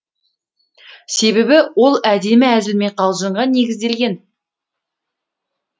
себебі ол әдемі әзіл мен қалжыңға негізделген